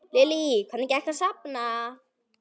Lillý: Hvernig gekk að safna?